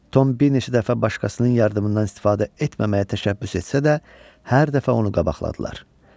Tom bir neçə dəfə başqasının yardımından istifadə etməməyə təşəbbüs etsə də hər dəfə onu qabaqladılar.